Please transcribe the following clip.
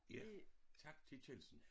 Ja tak til Kjeldsen